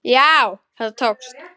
Þetta tókst.